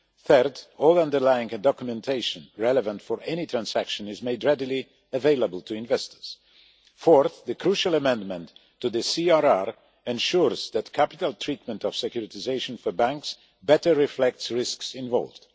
Thirdly, all underlying documentation relevant for any transaction is made readily available to investors. Fourthly, the crucial amendment to the CRR ensures that the capital treatment of securitisation for banks better reflects the risks involved.